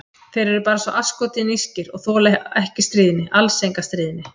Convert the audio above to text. Þeir eru bara svo asskoti nískir, og þola ekki stríðni, alls enga stríðni.